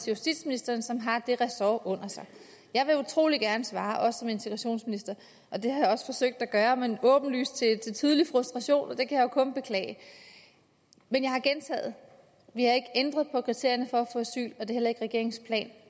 justitsministeren som har det ressort under sig jeg vil utrolig gerne svare også som integrationsminister og det har jeg også forsøgt at gøre men åbenlys frustration og det kan jeg jo kun beklage men jeg har gentaget vi har ikke ændret på kriterierne for at få asyl og det er heller ikke regeringens plan